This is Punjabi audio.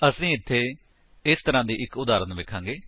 ਅਸੀ ਇੱਥੇ ਇਸ ਤਰਾਂ ਦੀ ਇੱਕ ਉਦਾਹਰਨ ਵੇਖਾਂਗੇ